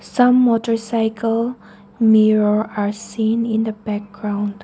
some motarcycle mirror are seen in the background.